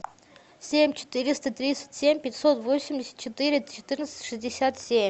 семь четыреста тридцать семь пятьсот восемьдесят четыре четырнадцать шестьдесят семь